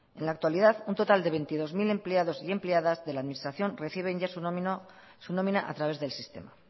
en la actualidad un total de veintidós mil empleados y empleadas de la administración reciben ya su nómina a través del sistema